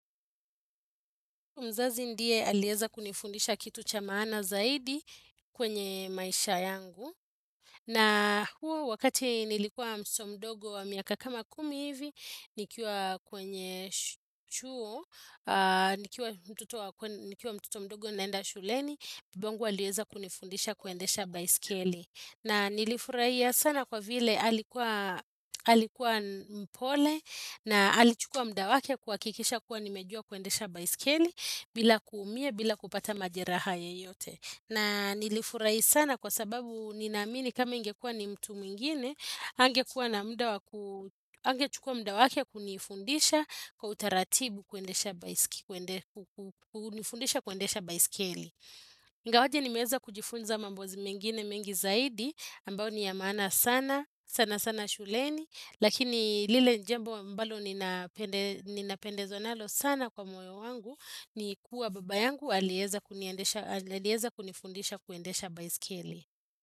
Mzazi ndiye alieza kunifundisha kitu cha maana zaidi kwenye maisha yangu. Na huo wakati nilikuwa mso mdogo wa miaka kama kumi hivi, nikiwa kwenye chuo, nikiwa mtoto mdogo naenda shuleni, babangu alieza kunifundisha kuendesha baiskeli. Na nilifurahia sana kwa vile alikuwa mpole na alichukua muda wake kuhakikisha kuwa nimejua kuendesha baiskeli bila kuumia bila kupata majeraha yeyote. Na nilifurahi sana kwa sababu ninaamini kama ingekua ni mtu mwingine, hangekua na muda waku hangechukua muda wake kunifundisha kwa utaratibu kuendesha baiskeli. Ngawaje nimeeza kujifunza mambo mengine mengi zaidi ambao ni ya maana sana sana sana shuleni Lakini lile jambo ambalo ninapendezwa nalo sana kwa moyo wangu ni kuwa baba yangu alieza kuniendesha alieza kunifundisha kuendesha baiskeli.